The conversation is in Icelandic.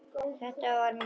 Þetta var mín.